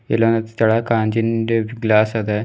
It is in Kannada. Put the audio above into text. ಇಲ್ಲೊಂದು ಸ್ಥಳ ಕಾಂಜಿನಂತೆ ಒಂದು ಗ್ಲಾಸ್ ಅದ.